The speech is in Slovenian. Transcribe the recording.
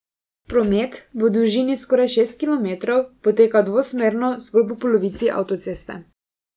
Promet bo v dolžini skoraj šest kilometrov potekal dvosmerno zgolj po polovici avtoceste.